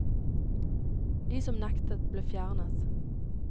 De som nektet, ble fjernet.